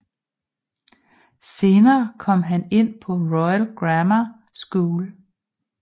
Senere kom han ind på Royal Grammar School